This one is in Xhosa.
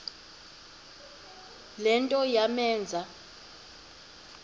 le nto yamenza